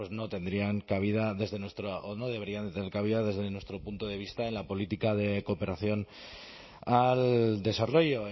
no tendrían cabida desde nuestro o no deberían tener cabida desde nuestro punto de vista en la política de cooperación al desarrollo